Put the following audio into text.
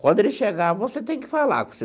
Quando ele chegar, você tem que falar.